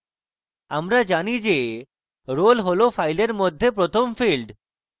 আমরা জানি যে roll roll file মধ্যে প্রথম field